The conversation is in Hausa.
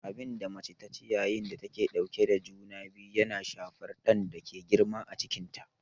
Abinda mace taci yayin da take ɗauke da juna biyu yana shafar ɗan da ke girma a cikinta